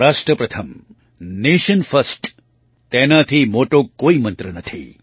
રાષ્ટ્ર પ્રથમ nation first તેનાથી મોટો કોઈ મંત્ર નથી